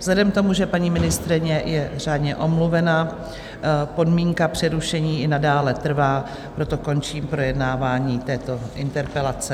Vzhledem k tomu, že paní ministryně je řádně omluvena, podmínka přerušení i nadále trvá, proto končím projednávání této interpelace.